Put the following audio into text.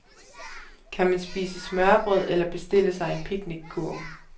Kan man spise smørrebrød eller bestille sig en picnickurv.